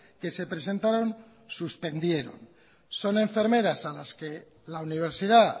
que se presentaron suspendieron son enfermeras a las que la universidad